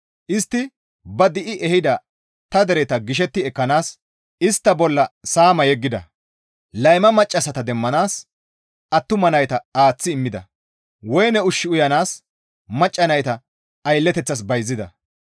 Istti ba di7i ehida ta dereta gishetti ekkanaas istta bolla saama yeggida; layma maccassata demmanaas attuma nayta aaththi immida; woyne ushshu uyanaas macca nayta aylleteththas bayzida.